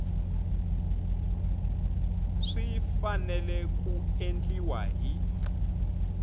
swi fanele ku endliwa hi